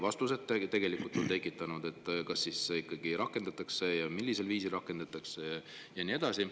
Vastuseta on, kas ikkagi rakendatakse ja millisel viisil rakendatakse ja nii edasi.